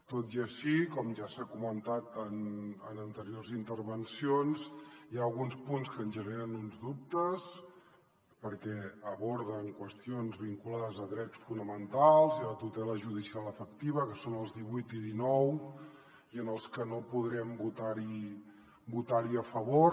tot i així com ja s’ha comentat en anteriors intervencions hi ha alguns punts que ens generen alguns dubtes perquè aborden qüestions vinculades a drets fonamentals i a la tutela judicial efectiva que són el divuit i el dinou i en els que no podrem votar hi a favor